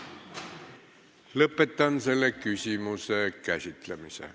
Lõpetan selle küsimuse käsitlemise.